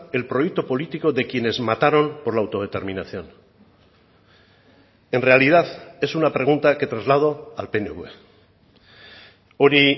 el proyecto político de quienes mataron por la autodeterminación en realidad es una pregunta que traslado al pnv hori